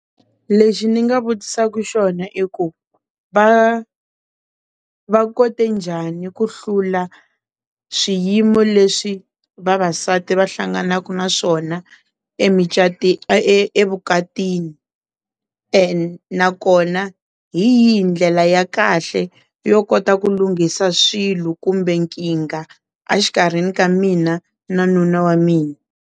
Lexi ni nga vutisaka xona i ku va, va kote njhani ku hlula swiyimo leswi vavasati va hlanganaka na swona evukatini and na kona hi yihi ndlela ya kahle yo kota ku lunghisa swilo kumbe nkingha exikarhini ka mina na nuna wa mina.